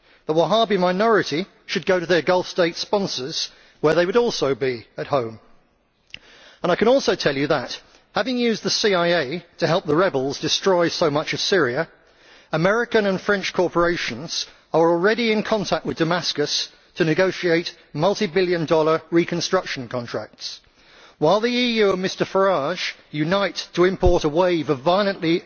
The Wahhabi minority should go to their Gulf State sponsors, where they too would be at home. I can also tell you that, having used the CIA to help the rebels destroy so much of Syria, American and French corporations are already in contact with Damascus to negotiate multi billion dollar reconstruction contracts. While the EU and Mr Farage unite to import a wave of violently